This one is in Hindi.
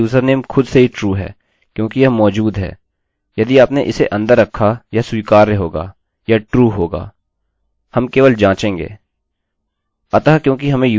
यदि आपने उसे अंदर रखा वह स्वीकार्य होगा वह true होगा